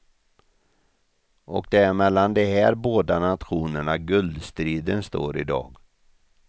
Och det är mellan de här båda nationerna guldstriden står i dag.